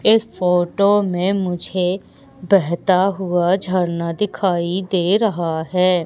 इस फोटो में मुझे बहता हुआ झरना दिखाई दे रहा है।